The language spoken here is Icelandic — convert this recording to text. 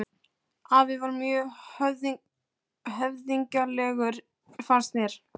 Afi var mjög höfðinglegur fannst mér.